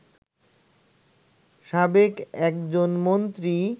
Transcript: সাবেক একজন মন্ত্রী